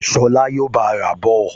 Ṣọlá yóò bá a rà á bọ̀